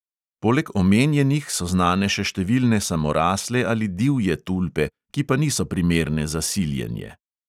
Poleg omenjenih so znane še številne samorasle ali divje tulpe, ki pa niso primerne za siljenje.